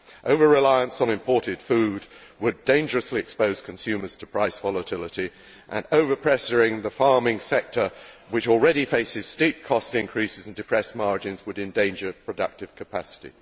Over reliance on imported food would dangerously expose consumers to price volatility, and over pressuring the farming sector, which already faces steep cost increases and depressed margins, would endanger productive capacity.